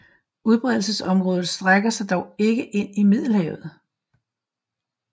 Udbredelsesområdet strækker sig dog ikke ind i Middelhavet